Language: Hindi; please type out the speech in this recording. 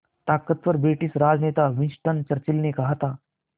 ताक़तवर ब्रिटिश राजनेता विंस्टन चर्चिल ने कहा था